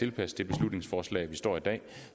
et beslutningsforslag